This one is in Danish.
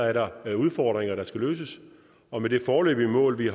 er der udfordringer der skal løses og med det foreløbige mål vi